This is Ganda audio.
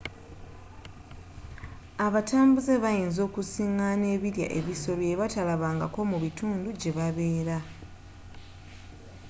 abatambuze bayinza okusingaana ebirya ebisoro byebatalabangako mubitundu jebabeera